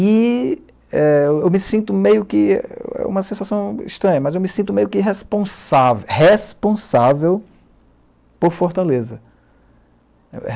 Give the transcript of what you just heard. E é eu me sinto meio que, é uma sensação estranha, mas eu me sinto meio que responsável, responsável por Fortaleza.